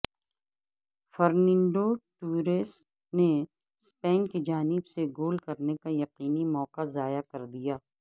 Fernando Torres نے Spain کی جانب سے گول کرنے کا یقینی موقع ضائع کر دیا